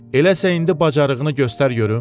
Eləsə indi bacarığını göstər görüm.